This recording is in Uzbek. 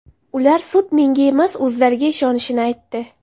Ular sud menga emas, o‘zlariga ishonishini aytdi.